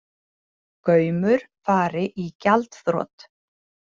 Gaumur fari í gjaldþrot